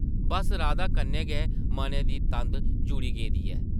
बस्स राधा कन्नै गै मनै दी तंद जुड़ी गेदी ऐ ।